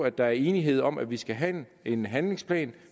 at der er enighed om at vi skal have en handlingsplan